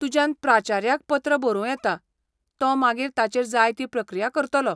तुज्यान प्राचार्याक पत्र बरोवं येता, तो मागीर ताचेर जाय ती प्रक्रिया करतलो.